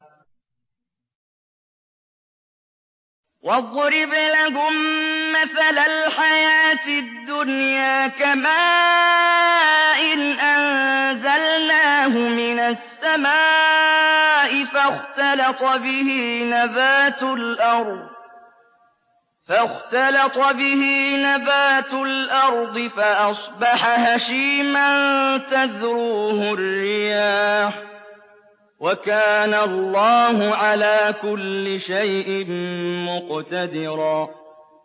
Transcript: وَاضْرِبْ لَهُم مَّثَلَ الْحَيَاةِ الدُّنْيَا كَمَاءٍ أَنزَلْنَاهُ مِنَ السَّمَاءِ فَاخْتَلَطَ بِهِ نَبَاتُ الْأَرْضِ فَأَصْبَحَ هَشِيمًا تَذْرُوهُ الرِّيَاحُ ۗ وَكَانَ اللَّهُ عَلَىٰ كُلِّ شَيْءٍ مُّقْتَدِرًا